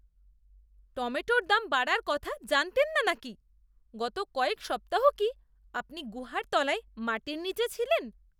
টমেটোর দাম বাড়ার কথা জানতেন না নাকি? গত কয়েক সপ্তাহ কি আপনি গুহার তলায় মাটির নীচে ছিলেন?